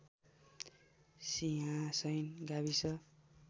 सिंहासैन गाविस